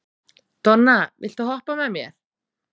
Donna, viltu hoppa með mér?